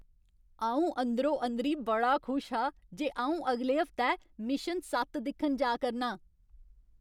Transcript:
अ'ऊं अंदरो अंदरी बड़ा खुश हा जे अ'ऊं अगले हफ्तै मिशन सत्त दिक्खन जा करना आं।